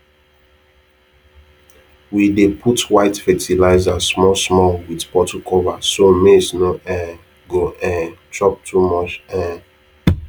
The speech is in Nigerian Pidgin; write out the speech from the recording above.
we dey put white fertilizer small small with bottle cover so maize no um go um chop too much um